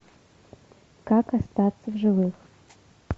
как остаться в живых